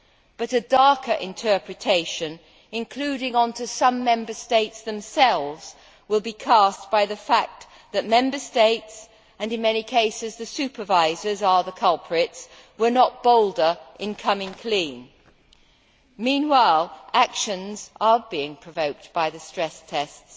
But a darker interpretation, reflecting on some Member States themselves, will be cast by the fact that Member States and in many cases the supervisors are the culprits were not bolder incoming clean. Meanwhile actions are being provoked by the stress tests